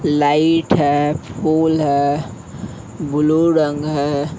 Light है फूल है ब्लू रंग है ।